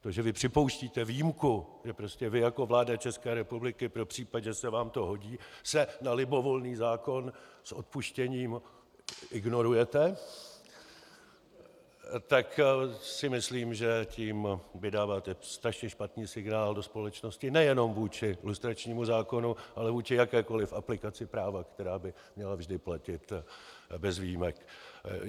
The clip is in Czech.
To, že vy připouštíte výjimku, že prostě vy jako vláda České republiky pro případ, že se vám to hodí, se na libovolný zákon s odpuštěním -- ignorujete, tak si myslím, že tím vydáváte strašně špatný signál do společnosti nejenom vůči lustračnímu zákonu, ale vůči jakékoliv aplikaci práva, která by měla vždy platit bez výjimek.